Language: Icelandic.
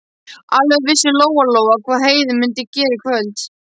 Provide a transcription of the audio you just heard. Alveg vissi Lóa-Lóa hvað Heiða mundi gera í kvöld.